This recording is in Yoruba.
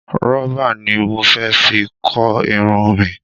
Rubber ni mo fẹ fi kó Irun mi